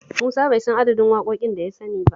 Musa bai san adadin waƙoƙin da ya sani ba